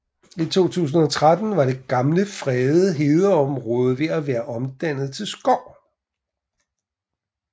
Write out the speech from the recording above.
I 2013 var det gamle fredede hedeområde ved at være omdannet til skov